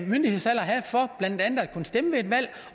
have for blandt andet at kunne stemme ved et valg